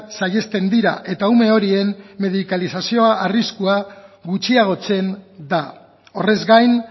saihesten dira eta ume horien medikalizazio arriskua gutxiagotzen da horrez gain